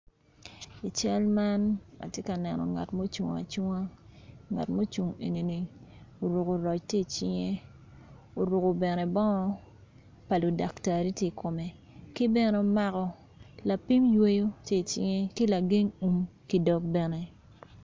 I cal man atye ka neno ngat ma ocung acunga ngat ma ocungo enini oruko roc tye i cinge oruko bene bongo ma ludaktari tye i kome kibene omako lapin weyo tye icinge ki lageng wun ki dog bene.